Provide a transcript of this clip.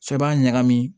Sɔ b'a ɲagami